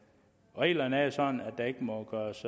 reglerne er jo sådan at der ikke må gøres